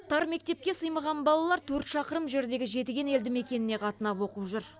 тар мектепке сыймаған балалар төрт шақырым жердегі жетіген елді мекеніне қатынап оқып жүр